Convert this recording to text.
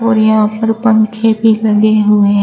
और यहां ऊपर पंखे भी लगे हुएं।